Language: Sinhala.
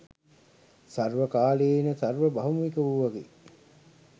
සර්වකාලීන, සර්ව භෞමික වූවකි.